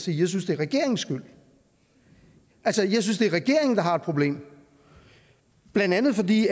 jeg synes det er regeringens skyld altså jeg synes det er regeringen der har et problem blandt andet fordi